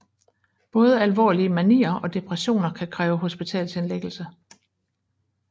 Både alvorlige manier og depressioner kan kræve hospitalsindlæggelse